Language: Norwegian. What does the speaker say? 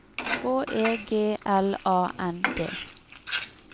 H E G L A N D